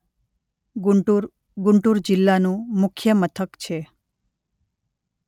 ગુન્ટૂર ગુન્ટુર જિલ્લાનું મુખ્ય મથક છે.